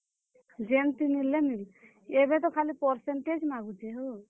ଯେନ୍ ଥି ହେଲେ କିନି ଏଭେ ତ ଖାଲି percentage ମାଗୁଛେ ହୋ।